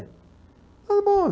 Tudo bom.